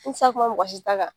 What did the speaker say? N tɛ se ka kuma mɔgɔsi ta kan.